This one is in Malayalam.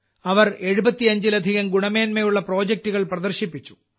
അവർ 75 ലധികം ഗുണമേന്മയുള്ള പ്രൊജെക്ടുകൾ പ്രദർശിപ്പിച്ചു